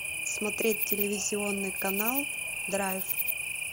смотреть телевизионный канал драйв